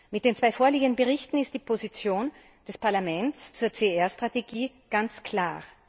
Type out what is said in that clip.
Mit den zwei vorliegenden Berichten ist die Position des Parlaments zur CSR Strategie ganz klar.